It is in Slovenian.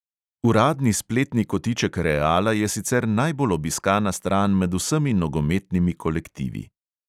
Uradni spletni kotiček reala je sicer najbolj obiskana stran med vsemi nogometnimi kolektivi.